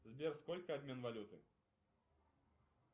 сбер сколько обмен валюты